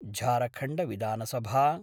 झारखण्डविधानसभा